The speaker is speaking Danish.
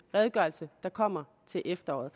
redegørelse der kommer til efteråret